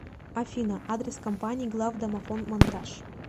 афина адрес компании главдомофонмонтаж